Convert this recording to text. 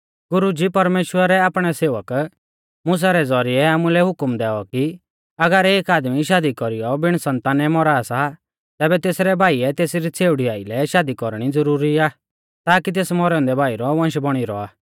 गुरुजी परमेश्‍वरै आपणै सेवक मुसा रै ज़ौरिऐ आमुलै हुकम दैऔ कि अगर एक आदमी शादी कौरीयौ बिण सन्तानै मौरा सा तैबै तेसरै भाईऐ तेसरी छ़ेउड़ी आइलै शादी कौरणी ज़ुरुरी आ ताकि तेस मौरै औन्दै भाई रौ वंश बौणी रौआ